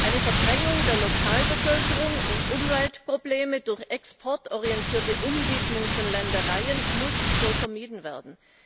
Eine Verdrängung der Lokalbevölkerung und Umweltprobleme durch exportorientierte Umwidmung von Ländereien müssen so vermieden werden.